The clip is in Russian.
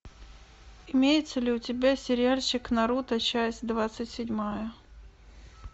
имеется ли у тебя сериальчик наруто часть двадцать седьмая